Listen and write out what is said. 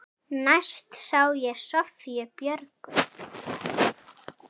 Næst sá ég Soffíu Björgu.